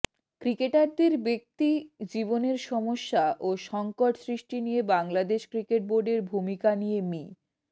ক্রিকেটারদের ব্যক্তি জীবনের সমস্যা ও সংকট সৃষ্টি নিয়ে বাংলাদেশ ক্রিকেট বোর্ডের ভূমিকা নিয়ে মি